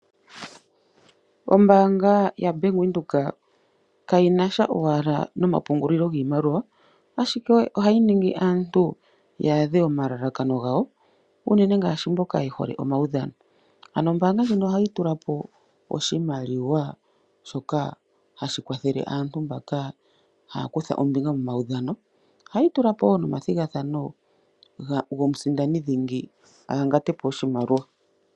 Ombaanga ya bank windhoek kayinasha owala noma pungulilo giimaliwa ashike ohayi ningi aantu yaadhe omalalakano gawo , unene ngaashi mboka yehole omaudhano .ano ombaanga ndjino ohayi tulapo oshimaliwa shoka hashi kwathele aantu mbaka haakutha ombinga momaudhano, hayi tulapo woo nomathigathano gomusindani dhingi ahangatepo oshimaliwa.